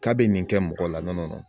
K'a bɛ nin kɛ mɔgɔ la nɔnɔ